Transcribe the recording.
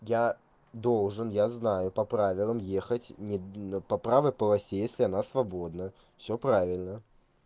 я должен я знаю по правилам ехать по правой полосе если она свободна всё правильно